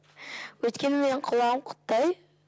өйткені менің құлағым құттай